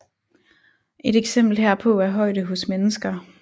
Et eksempel herpå er højde hos mennesker